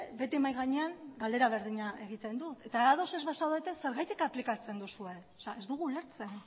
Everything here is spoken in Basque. beti mahai gainean galdera berdina egiten dut eta ados ez bazaudete zergatik aplikatzen duzue ez dugu ulertzen